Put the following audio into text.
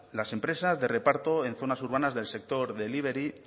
las empresas de reparto en zonas urbanas del sector delibery